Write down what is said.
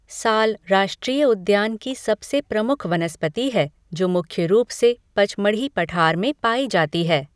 साल राष्ट्रीय उद्यान की सबसे प्रमुख वनस्पति है जो मुख्य रूप से पचमढ़ी पठार में पाई जाती है।